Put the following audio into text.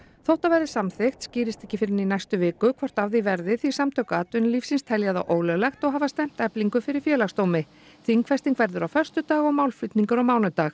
þótt það verði samþykkt skýrist ekki fyrr en í næstu viku hvort af því verði því Samtök atvinnulífsins telja það ólöglegt og hafa stefnt Eflingu fyrir Félagsdómi þingfesting verður á föstudag og málflutningur á mánudag